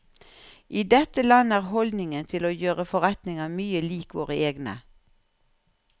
I dette landet er holdningen til å gjøre forretninger mye lik våre egne.